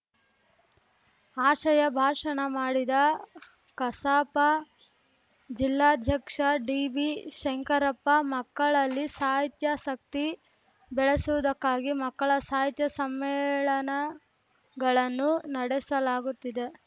ಆಶಯ ಭಾಷಣ ಮಾಡಿದ ಕಸಾಪ ಜಿಲ್ಲಾಧ್ಯಕ್ಷ ಡಿಬಿ ಶಂಕರಪ್ಪ ಮಕ್ಕಳಲ್ಲಿ ಸಾಹಿತ್ಯಾಸಕ್ತಿ ಬೆಳೆಸುವುದಕ್ಕಾಗಿ ಮಕ್ಕಳ ಸಾಹಿತ್ಯ ಸಮ್ಮೇಳನಗಳನ್ನು ನಡೆಸಲಾಗುತ್ತಿದೆ